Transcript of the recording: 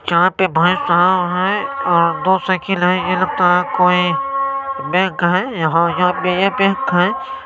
यहां पे भाई साब हेय और दो साइकिल हेय और ये लगता हैं ये कोई बैंक हेय यहां यह बैंक हेय